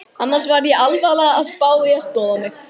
Annars var ég alvarlega að spá í að snoða mig.